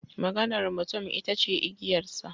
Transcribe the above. Maganar mutum ita ce igiyarsa.